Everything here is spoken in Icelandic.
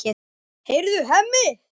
Heyrðu, Hemmi!